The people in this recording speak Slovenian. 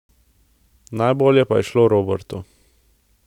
Najbolje pa je šlo Robertu.